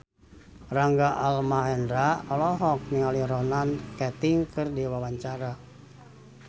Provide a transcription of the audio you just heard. Rangga Almahendra olohok ningali Ronan Keating keur diwawancara